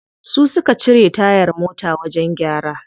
Su suka cire tayar mota wajen gyara.